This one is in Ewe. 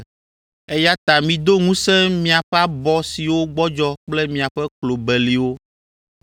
Eya ta mido ŋusẽ miaƒe abɔ siwo gbɔdzɔ kple miaƒe klo beliwo.